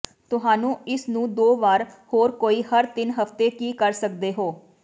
ਤੁਹਾਨੂੰ ਇਸ ਨੂੰ ਦੋ ਵਾਰ ਹੋਰ ਕੋਈ ਹਰ ਤਿੰਨ ਹਫ਼ਤੇ ਕੀ ਕਰ ਸਕਦੇ ਹੋ